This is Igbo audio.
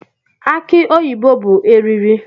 Aki oyibo bụ eriri